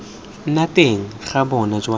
nna teng ga bonno jwa